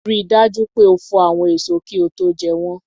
Rí dájú pé o fò àwọn èso kí ó tó jẹ́ wọ́n